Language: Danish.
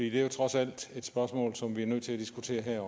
er jo trods alt et spørgsmål som vi også er nødt til at diskutere her